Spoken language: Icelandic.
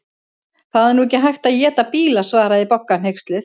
Það er nú ekki hægt að éta bíla svaraði Bogga hneyksluð.